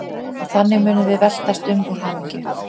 Og þannig munum við veltast um úr hamingju.